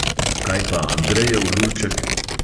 Kaj pa andrejev lulček?